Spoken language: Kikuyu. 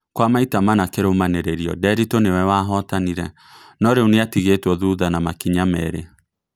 Kwa maita mana kĩrumanĩrĩrio Nderitu nĩwe wahotanire no rĩu nĩatigetwo thutha na makinya merĩ